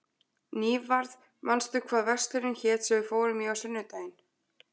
Nývarð, manstu hvað verslunin hét sem við fórum í á sunnudaginn?